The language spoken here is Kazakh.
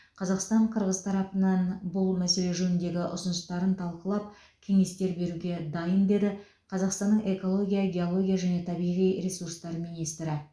қазақстан қырғыз тарапынан бұл мәселе жөніндегі ұсыныстарын талқылап кеңестер беруге дайын деді қазақстанның экология геология және табиғи ресурстар министрі